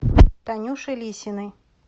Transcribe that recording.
танюше лисиной